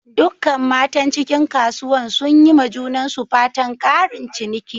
Dukkan matan cikin kasuwan sun yi ma junansu fatan"ƙarin ciniki."